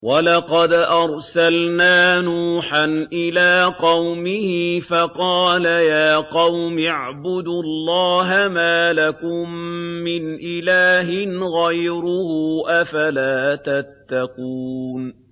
وَلَقَدْ أَرْسَلْنَا نُوحًا إِلَىٰ قَوْمِهِ فَقَالَ يَا قَوْمِ اعْبُدُوا اللَّهَ مَا لَكُم مِّنْ إِلَٰهٍ غَيْرُهُ ۖ أَفَلَا تَتَّقُونَ